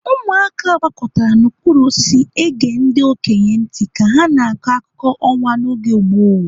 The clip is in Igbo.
Ụmụaka gbakọtara n'okpuru osisi ege ndi okenye ntị ka ha na-akọ akụkọ ọnwa n'oge gboo.